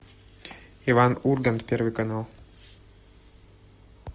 иван ургант первый канал